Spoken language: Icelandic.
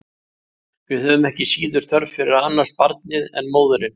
Við höfum ekki síður þörf fyrir að annast barnið en móðirin.